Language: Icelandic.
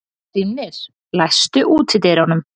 Hrímnir, læstu útidyrunum.